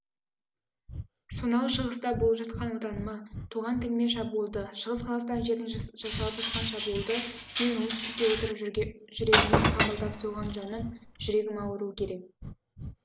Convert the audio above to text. сонау шығыста болып жатқан отаныма туған тіліме шабуылды шығыс қазақстан жеріне жасалып жатқан шабуылды мен оңтүстікте отырып жүрегіммен қабылдап соған жаным жүрегім ауыруы керек